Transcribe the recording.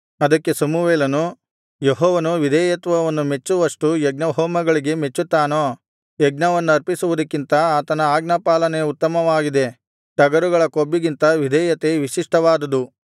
ಅದಕ್ಕೆ ಸಮುವೇಲನು ಯೆಹೋವನು ವಿಧೇಯತ್ವವನ್ನು ಮೆಚ್ಚುವಷ್ಟು ಯಜ್ಞಹೋಮಗಳಿಗೆ ಮೆಚ್ಚುತ್ತಾನೋ ಯಜ್ಞವನ್ನರ್ಪಿಸುವುದಕ್ಕಿಂತ ಆತನ ಆಜ್ಞಾಪಾಲನೆ ಉತ್ತಮವಾಗಿದೆ ಟಗರುಗಳ ಕೊಬ್ಬಿಗಿಂತ ವಿಧೇಯತೆ ವಿಶಿಷ್ಟವಾದುದು